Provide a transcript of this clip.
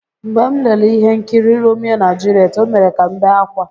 "Mgbe m lere ihe nkiri""Romeo na Juliet", O mere ka m bee ákwá."